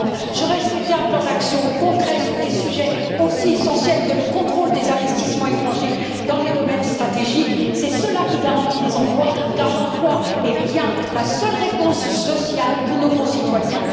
J'aurais souhaité un plan d'action concret sur des sujets aussi essentiels que le contrôle des investissements étrangers dans les domaines stratégiques c'est cela qui garantit les emplois car l'emploi est bien la seule réponse sociale pour nos concitoyens.